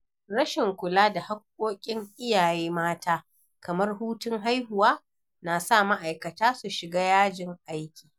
Rashin kula da haƙƙoƙin iyaye mata kamar hutun haihuwa na sa ma’aikata su shiga yajin aiki.